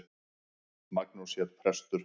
Magnús hét prestur.